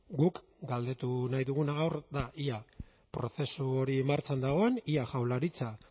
guk galdetu nahi duguna gaur da ea prozesu hori martxan dagoen ea jaurlaritza